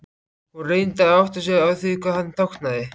Hún reyndi að átta sig á því hvað hann táknaði.